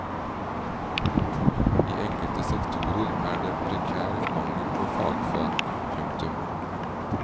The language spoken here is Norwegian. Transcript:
I enkelte sektorer er det prekær mangel på fagfolk. punktum